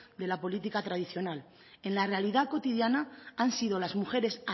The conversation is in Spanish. de la política tradicional en la realidad cotidiana han sido las mujeres